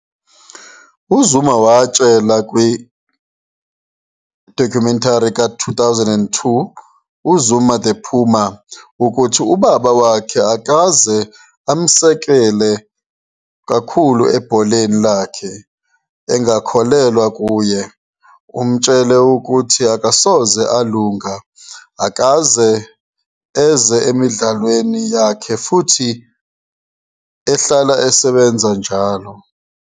UZuma watshela kwi-documentary ka-2002 "uZuma the Puma "ukuthi ubaba wakhe akaze amsekele kakhulu ebholeni lakhe, engakholelwa kuye, emtshela ukuthi akasoze alunga, akaze eze emidlalweni yakhe futhi uhlala esebenza njalo.